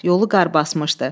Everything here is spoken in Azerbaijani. Yolu qar basmışdı.